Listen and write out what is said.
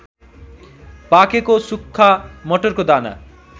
पाकेको सुक्खा मटरको दाना